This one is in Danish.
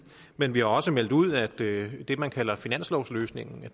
men vi har også meldt ud at det det man kalder finanslovsløsningen